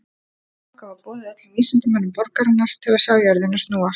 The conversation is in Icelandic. Þangað var boðið öllum vísindamönnum borgarinnar til að sjá jörðina snúast.